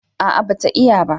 a'a ba ta iya ba